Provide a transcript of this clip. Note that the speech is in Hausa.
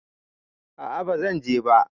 A'a bazan je ba